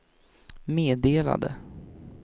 meddelade